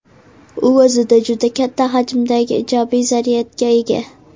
U o‘zida juda katta hajmda ijobiy zaryadga ega.